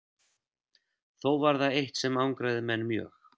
Þó var það eitt sem angraði menn mjög.